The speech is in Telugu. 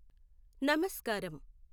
నమస్కారం